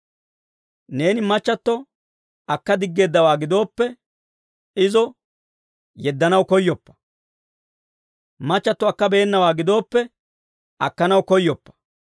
Neeni machchatto akka diggeeddawaa gidooppe, izo yeddanaw koyyoppa. Machchatto akkabeenawaa gidooppe, akkanaw koyyoppa.